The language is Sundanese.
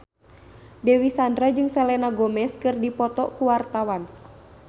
Dewi Sandra jeung Selena Gomez keur dipoto ku wartawan